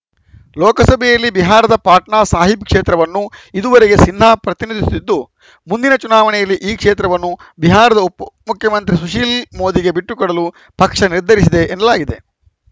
ಲೋಕಸಭೆಯಲ್ಲಿ ಬಿಹಾರದ ಪಾಟ್ನಾ ಸಾಹೀಬ್‌ ಕ್ಷೇತ್ರವನ್ನು ಇದುವರೆಗೆ ಸಿನ್ಹಾ ಪ್ರತಿನಿಧಿಸುತ್ತಿದ್ದು ಮುಂದಿನ ಚುನಾವಣೆಯಲ್ಲಿ ಈ ಕ್ಷೇತ್ರವನ್ನು ಬಿಹಾರದ ಉಪಮುಖ್ಯಮಂತ್ರಿ ಸುಶೀಲ್‌ ಮೋದಿಗೆ ಬಿಟ್ಟುಕೊಡಲು ಪಕ್ಷ ನಿರ್ಧರಿಸಿದೆ ಎನ್ನಲಾಗಿದೆ